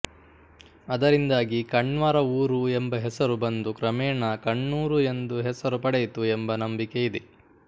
ಅದರಿಂದಾಗಿ ಕಣ್ವರ ಊರು ಎಂಬ ಹೆಸರು ಬಂದು ಕ್ರಮೇಣ ಕಣ್ಣೂರು ಎಂದು ಹೆಸರು ಪಡೆಯಿತು ಎಂಬ ನಂಬಿಕೆಯಿದೆ